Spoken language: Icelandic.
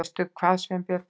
Veistu hvað, Sveinbjörn?